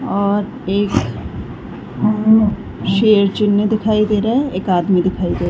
और एक शेर चुनी दिखाई दे रहा है। एक आदमी दिखाई दे रहा है।